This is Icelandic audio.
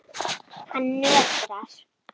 Hann nötrar.